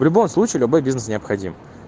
в любом случае любой бизнес необходим